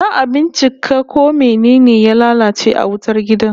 Za'a bincika ko mene ne ya lalace a wutar gidan